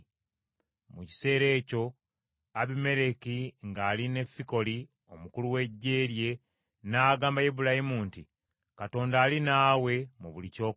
Mu kiseera ekyo Abimereki ng’ali ne Fikoli omukulu w’eggye lye n’agamba Ibulayimu nti, “Katonda ali naawe mu buli ky’okola: